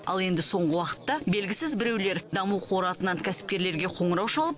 ал енді соңғы уақытта белгісіз біреулер даму қоры атынан кәсіпкерлерге қоңырау шалып